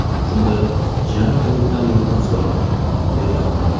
Shunda jiyanim Hamiddan yordam so‘radim”, deydi Anvar.